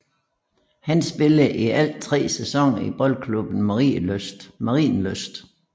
Han spillede i alt tre sæsoner i Boldklubben Marienlyst